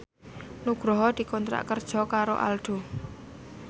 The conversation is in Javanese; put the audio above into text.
Nugroho dikontrak kerja karo Aldo